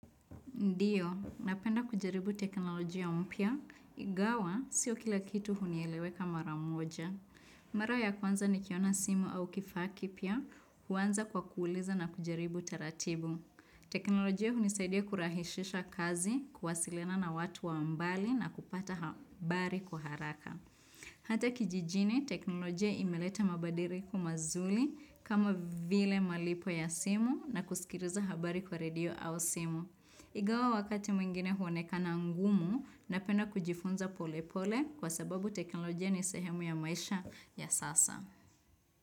Ndio, napenda kujaribu teknolojia mpya. Ingawa, sio kila kitu hunieleweka mara moja. Mara ya kwanza nikiona simu au kifaa kipya, huanza kwa kuuliza na kujaribu taratibu. Teknolojia hunisaidia kurahishisha kazi, kuwasiliana na watu wa mbali na kupata habari kwa haraka. Hata kijijini, teknolojia imeleta mabadiliko mazuri kama vile malipo ya simu na kusikiliza habari kwa redio au simu. Ingawa wakati mwingine huonekana ngumu napenda kujifunza pole pole kwa sababu teknolojia ni sehemu ya maisha ya sasa.